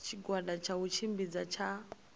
tshigwada tsha u tshimbidza tsha